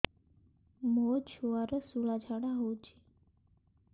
ମୋ ଛୁଆର ସୁଳା ଝାଡ଼ା ହଉଚି